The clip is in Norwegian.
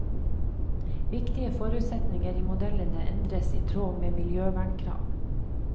Viktige forutsetninger i modellene endres i tråd med miljøvernkrav.